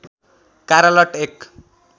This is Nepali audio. कारा लट एक